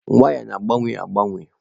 Waya na-agbanwe agbanwe.